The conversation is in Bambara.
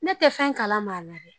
Ne tɛ fɛn kalama m'a la dɛ